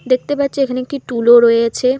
দেখতে পাচ্ছি এখানে কি টুলও রয়েছে।